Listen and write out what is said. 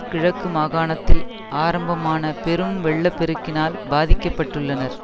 கிழக்கு மாகாணத்தில் ஆரம்பமான பெரும் வெள்ள பெருக்கினால் பாதிக்க பட்டுள்ளனர்